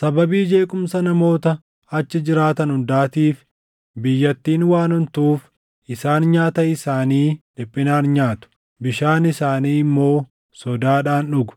Sababii jeequmsa namoota achi jiraatan hundaatiif biyyattiin waan ontuuf isaan nyaata isaanii dhiphinaan nyaatu; bishaan isaanii immoo sodaadhaan dhugu.